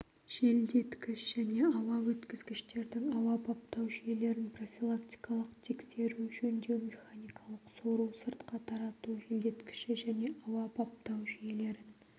желдеткіш және ауа өткізгіштердің ауа баптау жүйелерін профилактикалық тексеру жөндеу механикалық сору-сыртқа тарату желдеткіші және ауа баптау жүйелерін